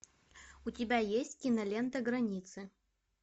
у тебя есть кинолента границы